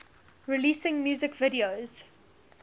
releasing music videos